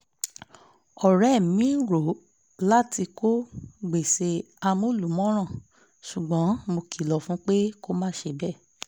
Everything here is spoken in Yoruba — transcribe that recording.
ọ̀rẹ́ mi ń rò láti kó gbèsè amúlùmọ́ràn ṣùgbọ́n mo kilọ̀ fún un pé kó má ṣe bẹ́ẹ̀